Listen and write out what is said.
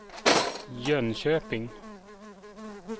Jönköping